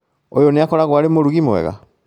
ũyũ nĩakoragwo arĩ mũrugi mwega?